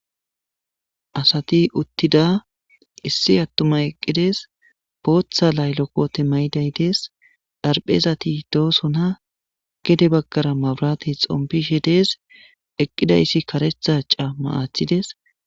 Asati uttida issi attuma eqqides booththa laylokote maydaydees dharphezati doosona gede baggara maburati xompishe dees eqqidayssi karethaca maathides.